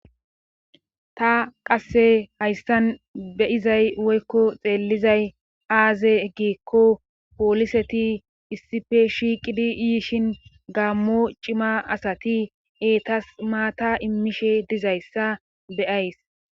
ta qasse hayssan beizay woykko xeellizay aaze giekko pooliseti issife shiiqidi iyishin gaammo cima asati eetas maata immishe dizayssa beyays